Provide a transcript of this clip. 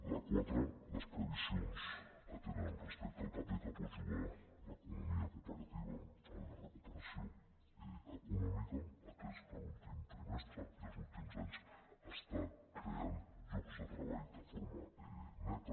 la quatre les previsions que tenen respecte al paper que pot jugar l’economia cooperativa en la recuperació econòmica atès que l’últim trimestre i els últims anys ha creat llocs de treball de forma neta